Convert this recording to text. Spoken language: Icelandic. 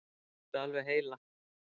Þetta er alveg heilagt!